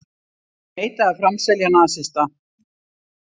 Neita að framselja nasista